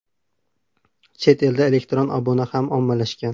Chet elda elektron obuna ham ommalashgan.